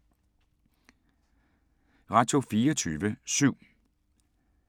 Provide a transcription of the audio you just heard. Radio24syv